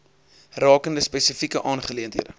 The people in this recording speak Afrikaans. rakende spesifieke aangeleenthede